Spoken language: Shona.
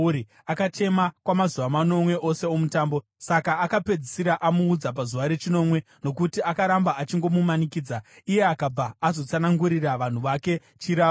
Akachema kwamazuva manomwe ose omutambo. Saka akapedzisira amuudza pazuva rechinomwe, nokuti akaramba achingomumanikidza. Iye akabva azotsanangurira vanhu vake chirahwe.